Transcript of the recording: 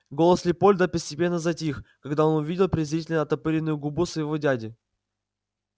голос лепольда постепенно затих когда он увидел презрительно оттопыренную губу своего дяди